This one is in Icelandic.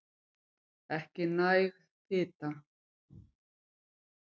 Ekki næg fita